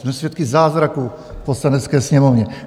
Jsme svědky zázraku v Poslanecké sněmovně.